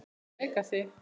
Með Megasi.